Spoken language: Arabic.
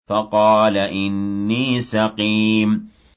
فَقَالَ إِنِّي سَقِيمٌ